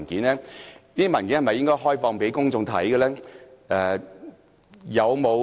這些文件是否應開放讓公眾索閱？